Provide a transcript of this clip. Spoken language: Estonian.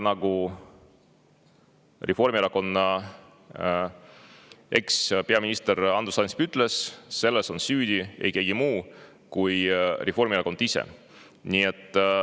Nagu Reformierakonna ekspeaminister Andrus Ansip ütles, selles on süüdi ei keegi muu kui Reformierakond ise.